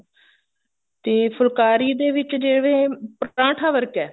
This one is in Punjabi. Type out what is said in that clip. ਤੇ ਫੁਲਕਾਰੀ ਦੇ ਵਿੱਚ ਜਿਵੇਂ ਪਰਾਂਠਾ ਵਰਗਾ